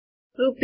rupees